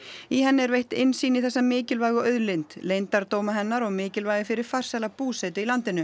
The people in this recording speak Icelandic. í henni er veitt innsýn í þessa mikilvægu auðlind leyndardóma hennar og mikilvægi fyrir farsæla búsetu í landinu